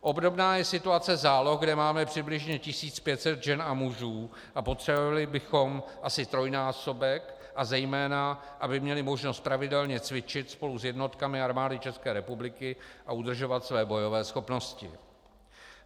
Obdobná je situace záloh, kde máme přibližně 1500 žen a mužů, a potřebovali bychom asi trojnásobek, a zejména aby měli možnost pravidelně cvičit spolu s jednotkami Armády České republiky a udržovat své bojové schopnosti.